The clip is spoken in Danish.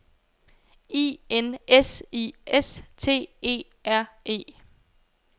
I N S I S T E R E